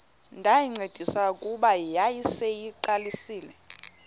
ndayincedisa kuba yayiseyiqalisile